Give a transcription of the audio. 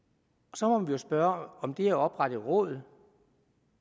så må vi jo spørge om det at oprette et råd